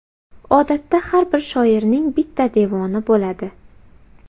Odatda har bir shoirning bitta devoni bo‘ladi.